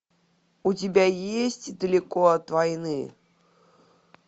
у тебя есть далеко от войны